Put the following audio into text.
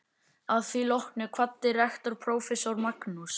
Að því loknu kvaddi rektor prófessor Magnús